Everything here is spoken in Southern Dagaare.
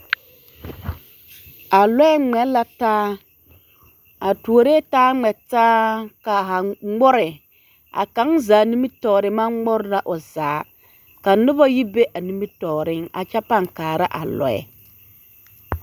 A lɔɛ ŋmɛ la taa, a tuoree taa ŋmɛ taa ka haa ŋmore, a kaŋ zaa nimitɔɔre maŋ ŋmore la o zaa ka noba yi be a nimitɔɔreŋ a kyɛ pãã kaara a lɔɛ.